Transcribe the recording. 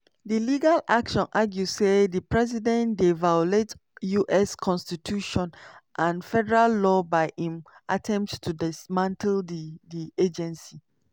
di legal action argue say di president dey violate us constitution and federal law by im attempt to dismantle di di agency.